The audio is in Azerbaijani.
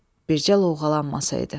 Bircə loğalanmasaydı.